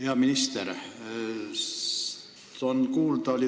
Hea minister!